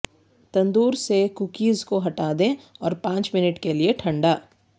تندور سے کوکیز کو ہٹا دیں اور پانچ منٹ کے لئے ٹھنڈا